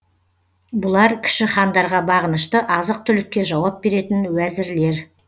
бұлар кіші хандарға бағынышты азық түлікке жауап беретін уәзірлер